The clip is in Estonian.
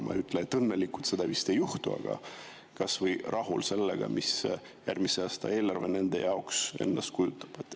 Ma ei ütle, et õnnelikud, seda vist ei juhtu, aga kas või rahul sellega, mida järgmise aasta eelarve nende jaoks endast kujutab.